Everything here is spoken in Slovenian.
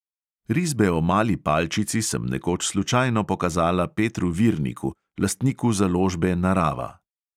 Risbe o mali palčici sem nekoč slučajno pokazala petru virniku, lastniku založbe narava.